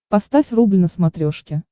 поставь рубль на смотрешке